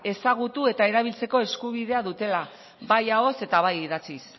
ezagutu eta erabiltzeko eskubidea dutela bai ahoz eta bai idatziz